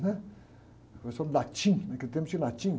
né? Professor de latim, naquele tempo tinha latim.